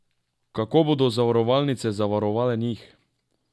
Kako bodo zavarovalnice zavarovale njih?